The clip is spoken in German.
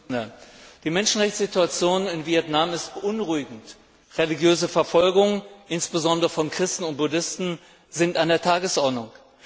Herr Präsident! Die Menschenrechtssituation in Vietnam ist beunruhigend. Religiöse Verfolgung, insbesondere von Christen und Buddhisten, ist an der Tagesordnung.